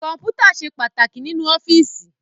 Kọ́mpútà ṣe pàtàkì nínú ọ́fíìsì